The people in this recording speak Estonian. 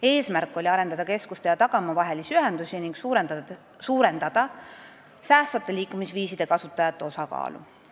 Eesmärk oli arendada keskuste ja tagamaa vahelisi ühendusi ning suurendada säästvate liikumisviiside kasutajate osakaalu.